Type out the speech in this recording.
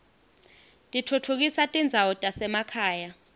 titfutfukisa tindzawo tasemakhaya